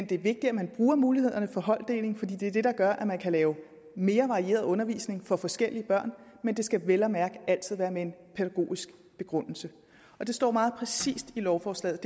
det er vigtigt at man bruger mulighederne for holddeling fordi det er det der gør at man kan lave mere varieret undervisning for forskellige børn men det skal vel at mærke altid være med en pædagogisk begrundelse det står meget præcist i lovforslaget